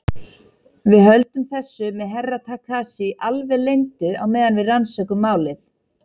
Við höldum þessu með Herra Takashi alveg leyndu á meðan við rannsökum málið.